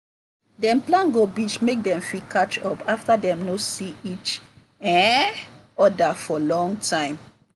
dem plan go beach make dem fit catch up after dem no see each um other for long time.